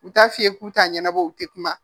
U t'a f'i ye k'u t'a ɲɛnabɔ u tɛ kuma